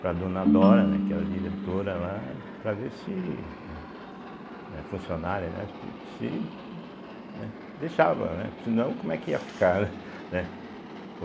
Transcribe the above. para a dona Dora, né, que era a diretora lá, para ver se eh, funcionária, né, se né deixava, né, senão como é que ia ficar, né?